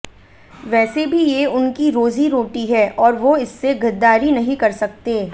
वैसे भी ये उनकी रोज़ी रोटी है और वो इससे गद्दारी नहीं कर सकते